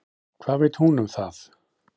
Hvað veit hún um það?